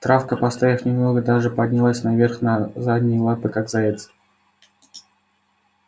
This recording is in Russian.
травка постояв немного даже поднялась наверх на задние лапы как заяц